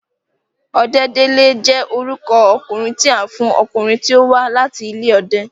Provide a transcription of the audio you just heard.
Ọdẹ́délé jẹ́ orúkọ okùnrin tí a ń fún ọkùnrin tí ó wa láti ilé ọdẹ